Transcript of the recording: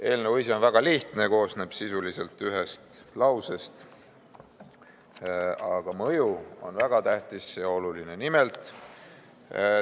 Eelnõu on väga lihtne, koosneb sisuliselt ühest lausest, aga mõju on väga tähtis ja oluline.